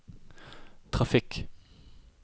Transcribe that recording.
trafikk